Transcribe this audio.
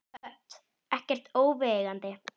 Hödd: Ekkert óviðeigandi?